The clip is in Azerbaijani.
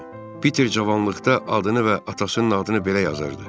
Peter cavanlıqda adını və atasının adını belə yazırdı.